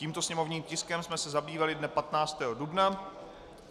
Tímto sněmovním tiskem jsme se zabývali dne 15. dubna.